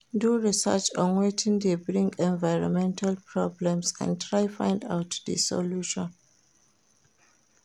Do research on wetin de bring environmental problems and try find out di solution